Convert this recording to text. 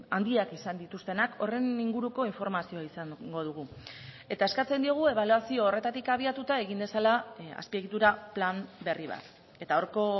handiak izan dituztenak horren inguruko informazioa izango dugu eta eskatzen diogu ebaluazio horretatik abiatuta egin dezala azpiegitura plan berri bat eta horko